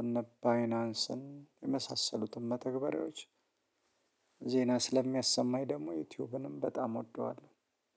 እነ ባይናንስን የመሳሰሉትን መተግበሬዎች። ዜና ስለሚያሰማኝ ደግሞ ዩቲዩብንም በጣም እወደዋለሁ